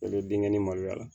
O bɛ binkɛnɛ ni maloya